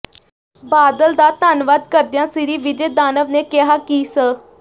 ਬਾਦਲ ਦਾ ਧੰਨਵਾਦ ਕਰਦਿਆਂ ਸ੍ਰੀ ਵਿਜੇ ਦਾਨਵ ਨੇ ਕਿਹਾ ਕਿ ਸ